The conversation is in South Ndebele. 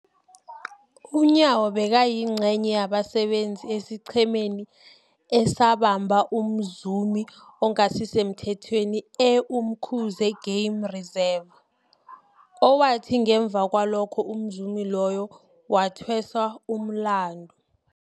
UNyawo bekayingcenye yabasebenza esiqhemeni esabamba umzumi ongasisemthethweni e-Umkhuze Game Reserve, owathi ngemva kwalokho umzumi loyo wathweswa umlandu.